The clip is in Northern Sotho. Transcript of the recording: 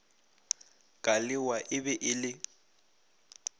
kalewa e be e le